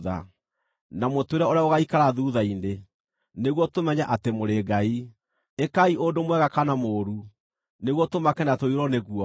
na mũtwĩre ũrĩa gũgaikara thuutha-inĩ, nĩguo tũmenye atĩ mũrĩ ngai. Ĩkai ũndũ mwega kana mũũru, nĩguo tũmake na tũiyũrwo nĩ guoya.